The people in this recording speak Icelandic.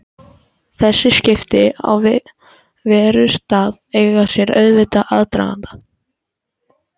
Sögu., svo blikkaði hann Lillu stríðnislega.